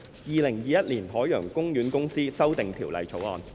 《2021年海洋公園公司條例草案》。